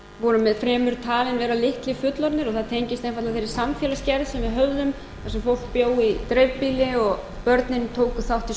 voru fremur talin vera litlir fullorðnir og það tengist einfaldlega þeirri samfélagsgerð sem við höfðum þar sem fólk bjó í dreifbýli og börnin tóku þátt í